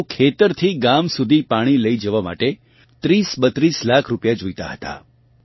પરન્તુ ખેતરથી ગામ સુધી પાણી લઇ જવા માટે 3032 લાખ રૂપિયા જોઇતા હતા